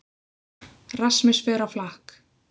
Rasmus fer á flakk